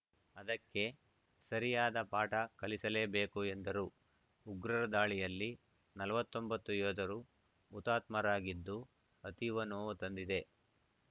ಅದಕ್ಕೆ ಸರಿಯಾದ ಪಾಠ ಕಲಿಸಲೇ ಬೇಕು ಎಂದರು ಉಗ್ರರ ದಾಳಿಯಲ್ಲಿ ನಲವತ್ತ್ ಒಂಬತ್ತು ಯೋಧರು ಹುತಾತ್ಮರಾಗಿದ್ದು ಅತೀವ ನೋವು ತಂದಿದೆ